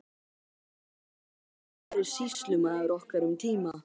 Hann hafði áður verið sýslumaður okkar um tíma.